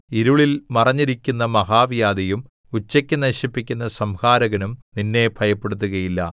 ഇരുളിൽ മറഞ്ഞിരിക്കുന്ന മഹാവ്യാധിയും ഉച്ചയ്ക്കു നശിപ്പിക്കുന്ന സംഹാരകനും നിന്നെ ഭയപ്പെടുത്തുകയില്ല